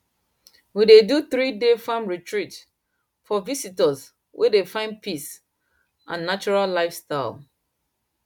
we dey do threeday farm retreat for visitors wey dey find peace and natural lifestyle